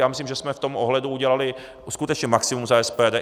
Já myslím, že jsme v tom ohledu udělali skutečně maximum za SPD.